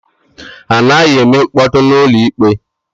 Anaghị eme mkpọtụ na ụlọ ikpe